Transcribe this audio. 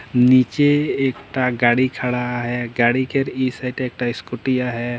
नीचे एक टा गाड़ी खड़ा है गाड़ी केर इ साइड एक टा स्कूटीया है।